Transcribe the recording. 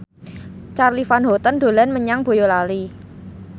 Charly Van Houten dolan menyang Boyolali